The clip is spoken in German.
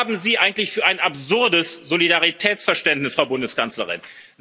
Was haben Sie eigentlich für ein absurdes Solidaritätsverständnis, Frau Bundeskanzlerin?